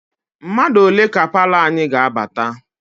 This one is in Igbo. Mmadụ ole ka palọ anyị ga-abata?